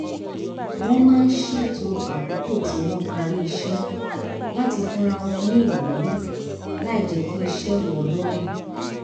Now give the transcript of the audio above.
wọ́n máa ń ṣètò àkókò tí wọ́n parí iṣẹ́ láti fúnra wọn ní ìwúrí láì jẹ́ kí iṣẹ́ wọ̀ lọ́rùn